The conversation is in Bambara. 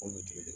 Olu tigi de